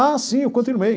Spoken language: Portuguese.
Ah, sim, eu continuei.